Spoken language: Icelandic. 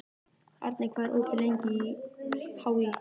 Arney, hvað er opið lengi í HÍ?